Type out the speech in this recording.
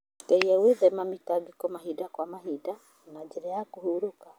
Geria gwĩthema mĩtangĩko mahinda kwa mahinda na njĩra cia kũhurũka.